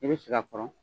I bɛ sigi a kɔrɔ